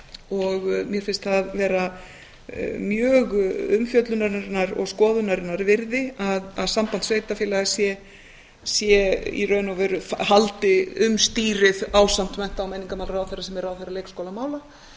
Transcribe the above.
og mér finnst það vera mjög umfjöllunarinnar og skoðunarinnar virði að samband sveitarfélaga sé í raun og veru haldi um stýrið ásamt mennta og menningarmálaráðherra sem er ráðherra leikskólamála